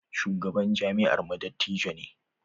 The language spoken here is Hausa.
Shugaban jami'armu dattijo ne.